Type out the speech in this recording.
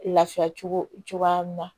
Lafiya cogo cogoya min na